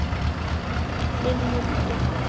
Þinn Murti.